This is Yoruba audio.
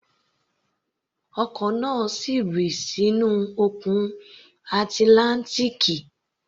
Ọkọ̀ náà rì sínú Òkun Atlántíkì